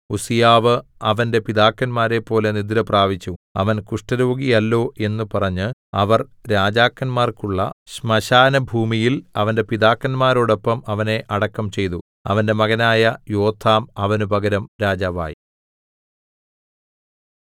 ഉസ്സീയാവ് അവന്റെ പിതാക്കന്മാരെപ്പോലെ നിദ്രപ്രാപിച്ചു അവൻ കുഷ്ഠരോഗിയല്ലോ എന്ന് പറഞ്ഞ് അവർ രാജാക്കന്മാർക്കുള്ള ശ്മശാനഭൂമിയിൽ അവന്റെ പിതാക്കന്മാരോടൊപ്പം അവനെ അടക്കം ചെയ്തു അവന്റെ മകനായ യോഥാം അവന് പകരം രാജാവായി